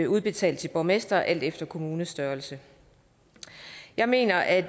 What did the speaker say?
udbetalt til borgmestre alt efter kommunestørrelse jeg mener at